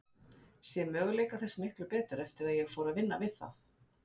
Sé möguleika þess miklu betur eftir að ég fór að vinna við það.